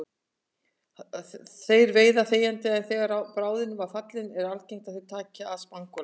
Þeir veiða þegjandi en þegar bráðin er fallin er algengt að þeir taki að spangóla.